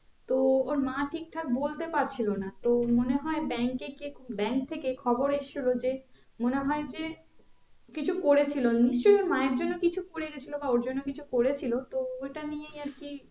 তো ওর মা ঠিক ঠাক বলতে পারছিলো না তো মনে হয়ে bank bank থেকে খবর এসছিলো যে মনে হয়ে যে কিছু করেছিলো নিশ্চই ওর মায়ের জন্য করে গেছিলো বা ওর জন্য কিছু করেছিলো তো ওইটা নিয়েই আর কি